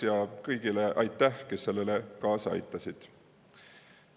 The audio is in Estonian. Aitäh kõigile, kes sellele kaasa aitasid!